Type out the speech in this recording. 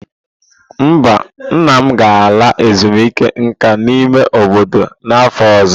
Mba, nna m ga-ala ezumike nka n'ime obodo n'afọ ọzọ.